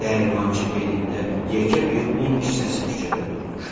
Dəyirmançı belində yekə bir un kisəsi küçədə durmuşdu.